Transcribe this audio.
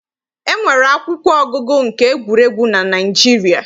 E nwere akwụkwọ ọgụgụ nke egwuregwu na Naịjirịa.